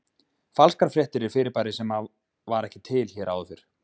Falskar fréttir er fyrirbæri sem að var ekki til hér áður fyrr.